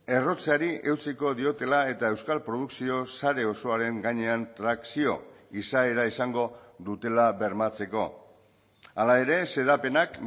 errotzeari eutsiko diotela eta euskal produkzio sare osoaren gainean trakzio izaera izango dutela bermatzeko hala ere xedapenak